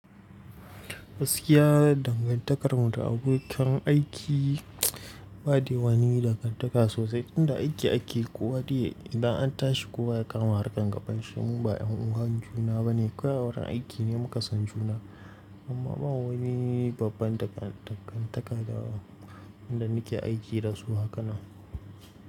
Gaskiya dangantakarmu da abokan aiki ba dai wani dangantaka sosai. Inda aiki ake kowa dai yayi idan an tashi kowa ya kama harkan gaban shi. Mu ba 'yan'uwan juna ba ne, kawai wurin aiki ne muka san juna amma ba wani babban dangantaka da inda nake aiki da su haka na.